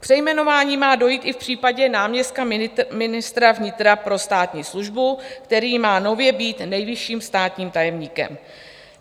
K přejmenování má dojít i v případě náměstka ministra vnitra pro státní službu, který má nově být nejvyšším státním tajemníkem.